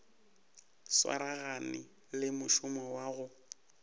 swaragane le mošomo wa go